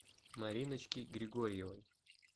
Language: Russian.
мариночки григорьевой